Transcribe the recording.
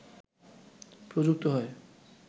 প্রযুক্ত হয়